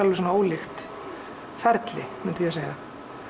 ólíkt ferli myndi ég segja